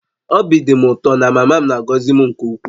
Obi dị m ụtọ na mama m na-agọzi m nke ukwuu